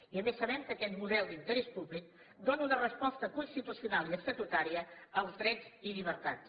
i a més sabem que aquest model d’interès públic dóna una resposta constitucional i estatutària als drets i llibertats